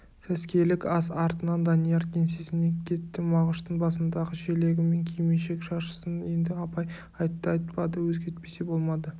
сәскелік ас артынан данияр кеңсесіне кетті мағыштың басындағы желегі мен кимешек-шаршысын енді абай айтты-айтпады өзгертпесе болмады